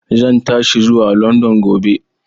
Zan tashi zuwa London gobe.